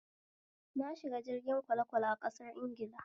Na shiga jirgin kwalekwale a ƙasar Ingila